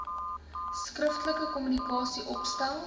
skriftelike kommunikasie opstel